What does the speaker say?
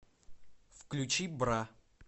включи бра